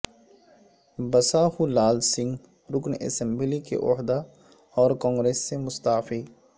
بساہولال سنگھ رکن اسمبلی کے عہدہ اور کانگریس سے مستعفی